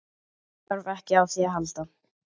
Þarf ekki á því að halda.